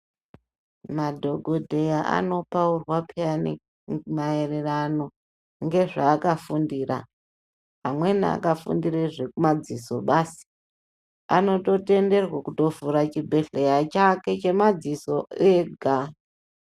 Madhokodheya anopaurwa payani maererano nezvaakafundira amweni akafundire zvemadziso basi anototenderwa kutovhure chibhedhleya chake chemadziso ega.